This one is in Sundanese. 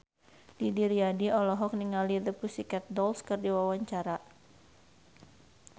Didi Riyadi olohok ningali The Pussycat Dolls keur diwawancara